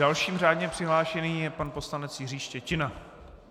Dalším řádně přihlášeným je pan poslanec Jiří Štětina.